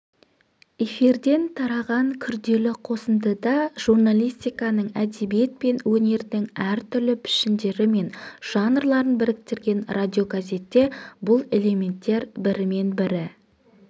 эфирден тараған күрделі қосындыда журналистиканың әдебиет пен өнердің әртүрлі пішіндері мен жанрларын біріктірген радиогазетте бұл элементтер бірімен-бірі